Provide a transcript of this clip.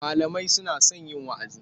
Malamai suna son yin wa'azi.